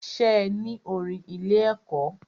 Ṣe ní orin ilé ẹ̀kọ́?